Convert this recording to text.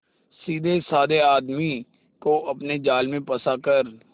सीधेसाधे आदमी को अपने जाल में फंसा कर